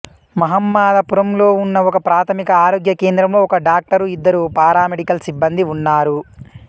మహమ్మదాపురంలో ఉన్న ఒకప్రాథమిక ఆరోగ్య కేంద్రంలో ఒక డాక్టరు ఇద్దరు పారామెడికల్ సిబ్బందీ ఉన్నారు